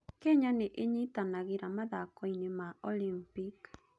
Kenya nĩ inyitanagĩra mathako-inĩ ma Olimpiki.